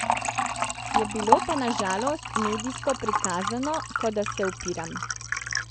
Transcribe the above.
Je bilo pa na žalost medijsko prikazano, kot da se upiram.